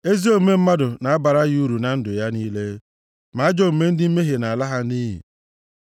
Ezi omume mmadụ na-abara ya uru na ndụ ya niile, ma ajọ omume ndị mmehie na-ala ha nʼiyi.